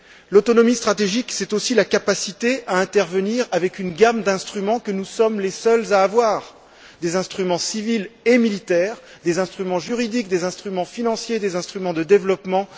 L'autonomie stratégique, c'est aussi la capacité à intervenir avec une gamme d'instruments que nous sommes les seuls à avoir des instruments civils et militaires, des instruments juridiques, des instruments financiers, des instruments de développement.